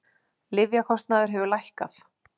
Lyfjakostnaður hefur lækkað